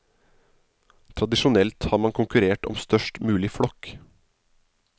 Tradisjonelt har man konkurrert om størst mulig flokk.